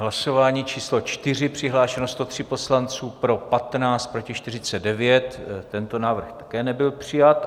Hlasování číslo 4, přihlášeno 103 poslanců, pro 15, proti 49, tento návrh také nebyl přijat.